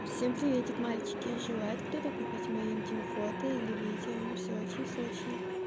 всем приветик мальчики желает кто-то купить мои интим фото или видео всё очень срочно